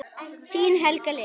Þín Helga Lilja.